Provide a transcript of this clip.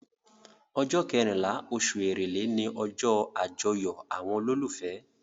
Ọjọ́ kẹrìnlá oṣù èrèlé ni ọjọ́ àjọyọ̀ àwọn olólùfẹ́.